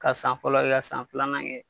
Ka san fɔlɔ kɛ ka san filanan kɛ